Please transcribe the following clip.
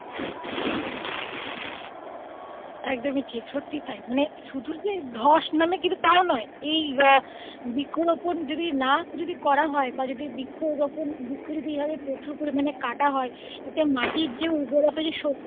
একদমই ঠিক সত্যি তাই শুধু যে ধস নামে কিন্তু তাও নয় এই বৃক্ষ রোপন যদি না যদি করা হয় বা যদি বৃক্ষরোপন বৃক্ষ যদি প্রচুর পরিমানে কাটা হয় মাটির যে উর্বরতা যে শক্তি.